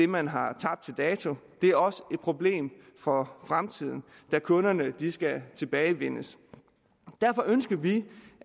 man har tabt til dato det er også et problem for fremtiden da kunderne skal tilbagevindes derfor ønsker vi